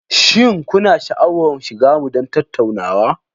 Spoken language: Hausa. Shin kuna sha'awar shiga mu don tattaunawa?